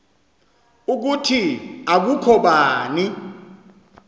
ukuthi akukho bani